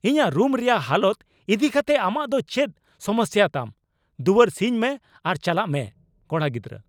ᱤᱧᱟᱜ ᱨᱩᱢ ᱨᱮᱭᱟᱜ ᱦᱟᱞᱚᱛ ᱤᱫᱤᱠᱟᱛᱮᱫ ᱟᱢᱟᱜ ᱫᱚ ᱪᱮᱫ ᱥᱚᱢᱚᱥᱥᱟ ᱛᱟᱢ ? ᱫᱩᱣᱟᱹᱨ ᱥᱤᱧ ᱢᱮ ᱟᱨ ᱪᱟᱞᱟᱜ ᱢᱮ ᱾(ᱠᱚᱲᱟ ᱜᱤᱫᱨᱟᱹ)